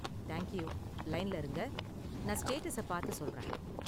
Thank you, லைன்ல இருங்க, நான் ஸ்டேட்டஸ பார்த்து சொல்றேன்.